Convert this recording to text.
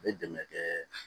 A bɛ dɛmɛ kɛ